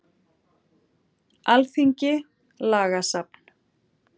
Alþingi- Lagasafn.